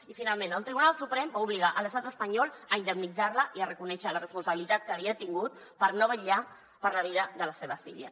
i finalment el tribunal suprem va obligar l’estat espanyol a indemnitzar la i a reconèixer la responsabilitat que havia tingut per no vetllar per la vida de la seva filla